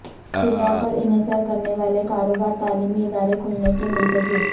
طلبہ پر انحصار کرنے والے کاروبار تعلیمی ادارے کھلنے کے منتظر